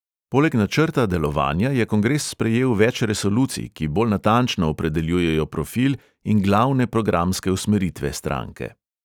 Poleg načrta delovanja je kongres sprejel več resolucij, ki bolj natančno opredeljujejo profil in glavne programske usmeritve stranke.